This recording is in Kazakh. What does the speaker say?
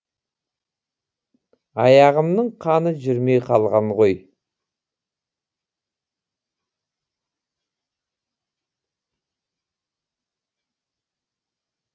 аяғымның қаны жүрмей қалған ғой